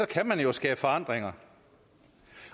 kan man jo skabe forandringer